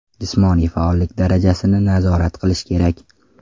Jismoniy faollik darajasini nazorat qilish kerak.